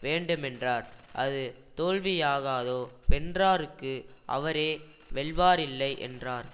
வேண்டுமென்றார் அது தோல்வி யாகாதோ வென்றாருக்கு அவரே வெல்வாரில்லை யென்றார்